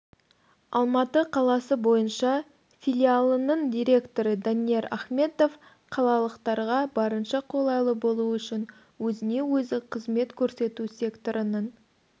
алматы қаласы бойынша филиалының директоры данияр ахметов қалалықтарға барынша қолайлы болу үшін өзіне-өзі қызмет көрсету секторының